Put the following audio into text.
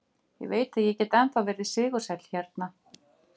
Ég veit að ég get ennþá verið sigursæll hérna.